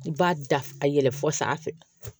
I b'a da a yɛlɛ fɔ sanfɛ